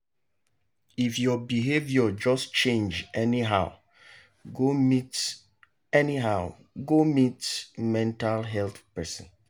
if your behaviour just change anyhow go meet anyhow go meet mental health person.